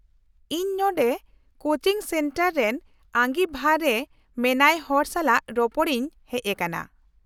-ᱤᱧ ᱱᱚᱰᱮ coaching centre ᱨᱮᱱ ᱟᱹᱜᱤᱵᱷᱟᱨ ᱨᱮ ᱢᱮᱱᱟᱭ ᱦᱚᱲ ᱥᱟᱞᱟᱜ ᱨᱚᱯᱚᱲ ᱤᱧ ᱦᱮᱪ ᱟᱠᱟᱱᱟ ᱾